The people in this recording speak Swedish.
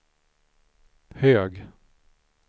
hög